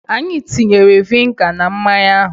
Anyị tinyere viniga na mmanya ahụ.